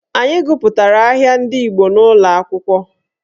Anyị gụpụtara ahịa ndị Igbo n'ụlọakwụkwọ